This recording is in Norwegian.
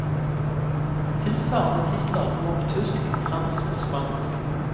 Tilsvarende titler kommer på tysk, fransk og spansk.